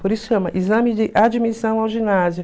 Por isso chama exame de admissão ao ginásio.